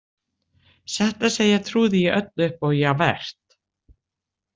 Satt að segja trúði ég öllu upp á Javert.